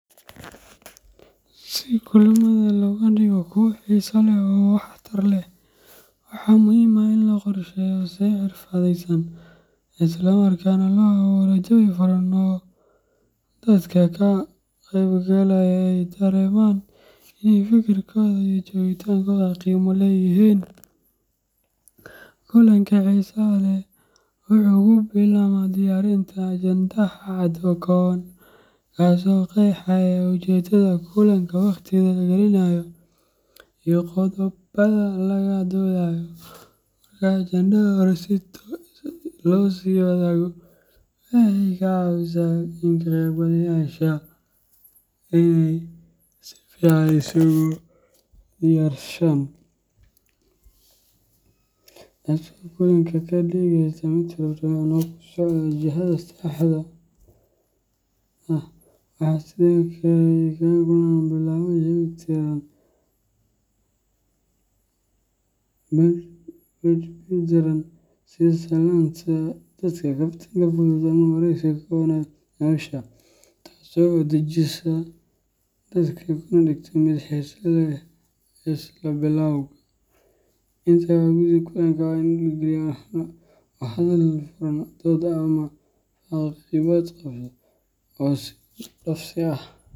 Si kulamada looga dhigo kuwo xiiso leh oo waxtar leh, waxaa muhiim ah in la qorsheeyo si xirfadeysan isla markaana loo abuurro jawi furan oo dadka ka qaybgalaya ay dareemaan in ay fikirkooda iyo joogitaankooda qiimo leeyihiin. Kulanka xiisaha leh wuxuu ka bilaabmaa diyaarinta ajendaha cad oo kooban, kaas oo qeexaya ujeeddada kulanka, waqtiga la gelinayo, iyo qodobbada laga doodayo. Marka ajendaha hore loo sii wadaago, waxay ka caawisaa ka qaybgalayaasha inay si fiican isugu diyaarshaan, taasoo kulanka ka dhigaysa mid firfircoon oo ku socda jihada saxda ah. Waxaa sidoo kale muhiim ah in kulanka lagu bilaabo jawi diirran, sida salaanta dadka, kaftan fudud ama waraysi kooban oo xagga nolosha ah, taasoo dejisa dadka kana dhigta mid xiiso leh isla bilowga. Inta lagu guda jiro kulanka, waa in la dhiirrigeliyaa wada hadal furan, dood caafimaad qabta, iyo is dhaafsi ah .